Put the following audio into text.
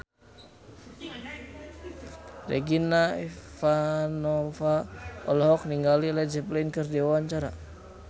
Regina Ivanova olohok ningali Led Zeppelin keur diwawancara